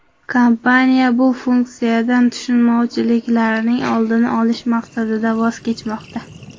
Kompaniya bu funksiyadan tushunmovchiliklarning oldini olish maqsadida voz kechmoqda.